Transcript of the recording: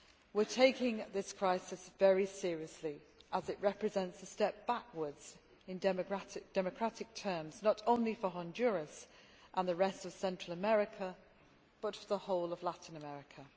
We are taking this crisis very seriously as it represents a step backwards, in democratic terms, not only for Honduras and the rest of Central America, but for the whole of Latin America.